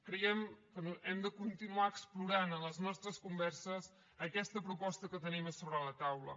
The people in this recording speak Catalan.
creiem que hem de continuar explorant en les nostres converses aquesta proposta que tenim a sobre la taula